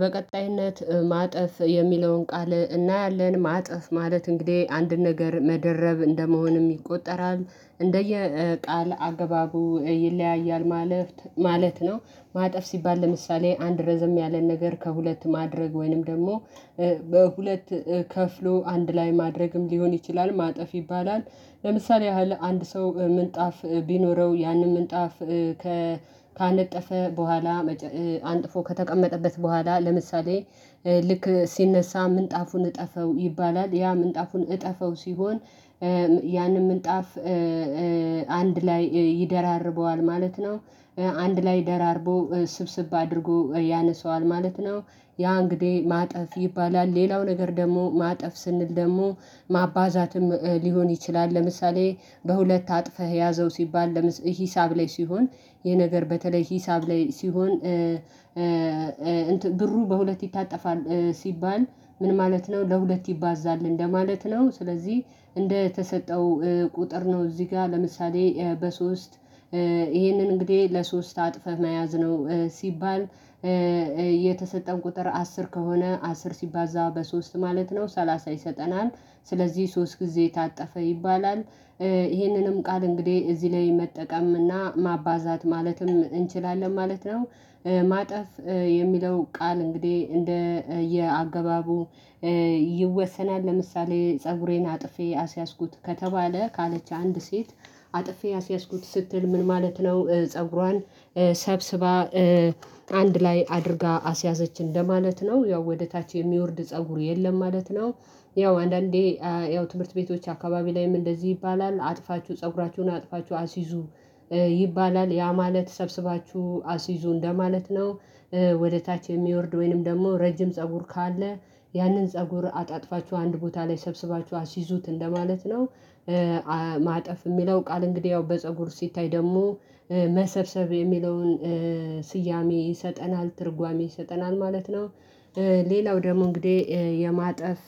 በቀጣይነት ማጠፍ የሚለውን ቃል እናያለን ማጠፍ ማለት እንግዲህ አንድ ነገር መደረብ እንደመሆንም ይቆጠራል እንደየ ቃል አግባቡ ይለያያል ማለት ማለት ማጠፍ ሲባል ለምሳሌ አንድ ረዘም ያለን ነገር ከሁለት ማድረግ ወይንም ደግሞ በሁለት ከፍሎ አንድ ላይ ማድረግም ሊሆን ይችላል ማጠፍ ይባላል። ለምሳሌ ያህል አንድ ሰው ምንጣፍ ቢኖረው ያንን ምንጣፍ ከ ካነጠፈ በኋላ አንጥፎ ከተቀመጠበት በኋላ ለምሳሌ ልክ ሲነሳ ምንጣፉን እጠፈው ይባላል ያ ምንጣፉን እጠፈው ሲሆን ያንን ምንጣፍ አንድ ላይ ይደራርበዋል ማለት ነው። አንድ ላይ ደራርቦ ስብስብ አድርጎ ያነሳዋል ማለት ነው። ያ እንግዲህ ማጠፍ ይባላል ሌላው ነገር ደግሞ ማጠፍ ስንል ደግሞ ማባዛትም ሊሆን ይችላል። ለምሳሌ በሁለት አጥፈህ ያዘው ሲባል ለሂሳብ ላይ ሲሆን የነገር በተለይ ሂሳብ ላይ ሲሆን ብሩ በሁለት ይታጠፋል ሲባል ምን ማለት ነው ለሁለት ይባዛል እንደማለት ነው? ስለዚህ እንደተሰጠው ቁጥር ነው እዚህ ጋር ለምሳሌ በሶስት ይሄንን እንግዲህ ለሶስት አጥፈህ መያዝ ነው ሲባል የተሰጠውን ቁጥር አስር ከሆነ አስር ሲባዛ በሶስት ማለት ነው ሰላሳ ይሰጠናል። ስለዚህ ሶስት ጊዜ ታጠፈ ይባላል። ይህንንም ቃል እንግዲህ እዚህ ላይ መጠቀም እና ማባዛት ማለትም እንችላለን ማለት ነው። ማጠፍ የሚለው ቃል እንግዲህ እንደ የአገባቡ ይወሰናል ለምሳሌ ፀጉሬን አጥፌ አስያዝኩት ከተባለ ካለች አንድ ሴት አጥፌ አስያዝኩት ስትል ምን ማለት ነው ፀጉሯን ሰብስባ አንድ ላይ አድርጋ አስያዘች እንደማለት ነው ያው ወደ ታች የሚወርድ ፀጉር የለም ማለት ነው። ያው አንዳንዴ ያው ትምህርት ቤቶች አካባቢ ላይም እንደዚህ ይባላል አጥፋችሁ ፀጉራችሁን አጥፋችሁ አስይዙ ይባላል ያ ማለት ሰብስባችሁ አስይዙ እንደማለት ነው። ወደ ታች የሚወርድ ወይንም ደግሞ ረጅም ፀጉር ካለ ያንን ፀጉር አጣጥፋችሁ አንድ ቦታ ላይ ሰብስባችሁ አስይዙት እንደማለት ነው። ማጠፍ የሚለው ቃል እንግዲህ ያው በፀጉር ሲታይ ደግሞ መሰርሰብ የሚለውን ይሰጠናል ትርጓሜ ይሰጠናል ማለት ነው። ሌላው ደግሞ እንግዲህ የማጠፍ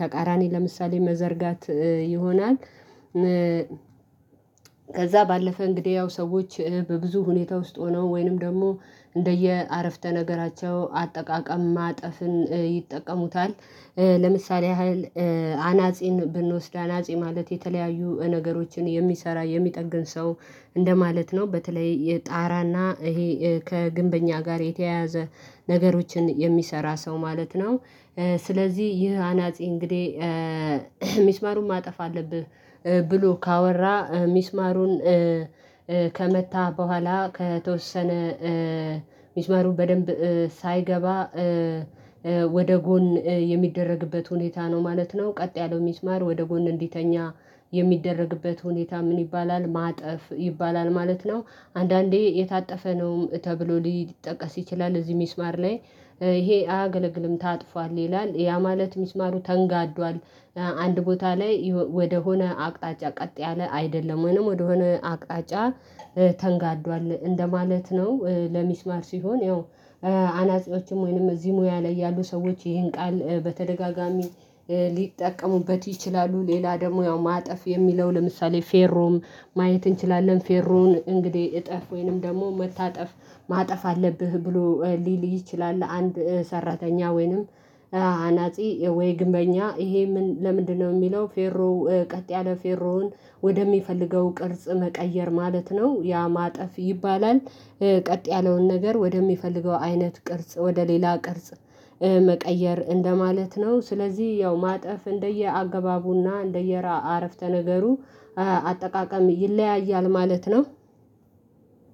ተቃራኒ ለምሳሌ መዘርጋት ይሆናል። ከዛ ባለፈ እንግዲህ ያው ሰዎች በብዙ ሁኔታ ውስጥ ሆነው ወይንም ደግሞ እንደየ አረፍተ ነገራቸው አጠቃቀም ማጠፍን ይጠቀሙታል ለምሳሌ ያህል አናጺን ብንወስድ አናጺ ማለት የተለያዩ ነገሮችን የሚሰራ የሚጠግን ሰው እንደማለት ነው። በተለይ የጣራና ይሄ ከግንበኛ ጋር የተያያዘ ነገሮችን የሚሰራ ሰው ማለት ነው። ስለዚህ ይህ አናጺ እንግዲህ ሚስማሩን ማጠፍ አለብህ ብሎ ካወራ ሚስማሩን ከመታ በኋላ ከተወሰነ ሚዝማሩ በደንብ ሳይገባ ወደ ጎን የሚደረግበት ሁኔታ ነው ማለት ነው። ቀጥ ያለው ሚስማሩ ወደ ጎን እንዲተኛ የሚደረግበት ሁኔታ ምን ይባላል ማጠፍ ይባላል። ማለት ነው አንዳንዴ የታጠፈ ነው ተብሎ ሊጠቀስ ይችላል እዚህ ሚስማር ላይ ይሄ አገልግልም ታጥፏል ይላል ያ ማለት ሚስማሩ ተንጋዷል። አንድ ቦታ ላይ ወደሆነ አቅጣጫ ቀጥ ያለ አይደለም ወይንም ወደሆነ አቅጣጫ ተንጋዷል እንደማለት ነው። ለሚስማር ሲሆን ያው አናጺዎችም ወይንም እዚህ ሙያ ላይ ያሉ ሰዎች ይሄን ቃል በተደጋጋሚ ሊጠቀሙበት ይችላሉ። ሌላ ደግሞ ያው ማጠፍ የሚለው ለምሳሌ ፌሮም ማየት እንችላለን ፌሮን እንግዲህ እጠፍ ወይንም ደግሞ መታጠፍ ማጠፍ አለብህ ብሎ ሊል ይችላል። አንድ ሰራተኛ ወይንም አናጺ ወይ ግንበኛ ይሄ ለምንድነው የሚለው ፌሮ ቀጥ ያለ ፌሮውን ወደሚፈልገው ቅርጽ መቀየር ማለት ነው። ያ ማጠፍ ይባላል። ቀጥ ያለውን ነገር ወደሚፈልገው አይነት ቅርጽ ወደ ሌላ ቅርጽ መቀየር እንደማለት ነው። ስለዚህ ያው ማጠፍ እንደየአገባቡና እንደየራ አረፍተ ነገሩ አጠቃቀም ይለያያል ማለት ነው።